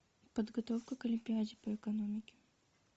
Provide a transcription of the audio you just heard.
подготовка к олимпиаде по экономике